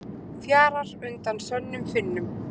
Fjarar undan Sönnum Finnum